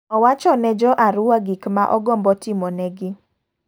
Owacho ne jo Arua gik ma ogombo timo ne gi.